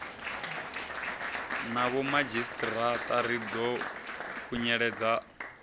na vhomadzhisiṱiraṱa ri ḓo khunyeledza